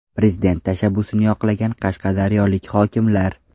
Prezident tashabbusini yoqlagan qashqadaryolik hokimlar.